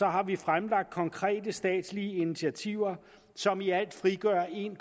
har vi fremlagt konkrete statslige initiativer som i alt frigør en